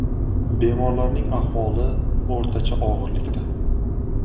Bemorlarning ahvoli o‘rtacha og‘irlikda.